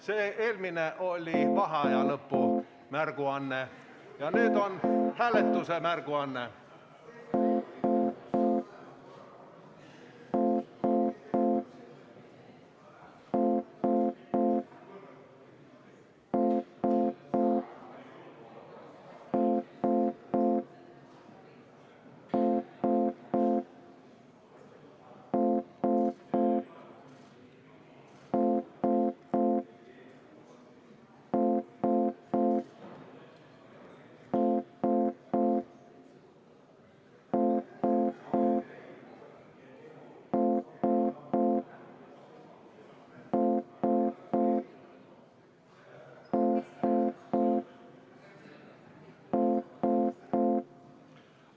See eelmine oli vaheaja lõpu märguanne ja nüüd on hääletuse märguanne.